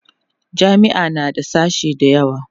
jami'a na da sashe da yawa